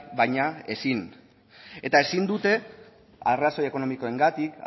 baina ezin ezin dute arrazoi ekonomikoengatik